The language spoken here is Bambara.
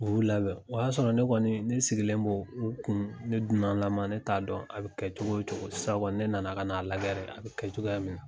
U y'u labɛn, o y'a sɔrɔ ne kɔni ne sigilen b'o u kun ne dunanlaman ne t'a dɔn a be kɛcogo cogo. Sisan kɔni ne nana ka na lajɛ de a be kɛ cogoya mi na.